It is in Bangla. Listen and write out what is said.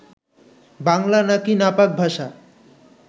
বাংলা নাকি নাপাক ভাষা